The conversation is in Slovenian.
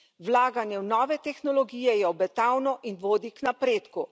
Vlaganje v nove tehnologije je obetavno in vodi k napredku.